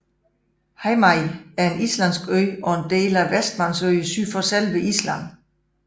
Heimaey er en islandsk ø og en del af Vestmannaøerne syd for selve Island